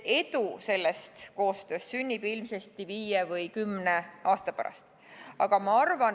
Edu sellest koostööst sünnib ilmsesti viie või kümne aasta pärast.